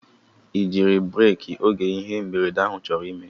I jiri breeki oge ihe mberede ahụ chọrọ ime?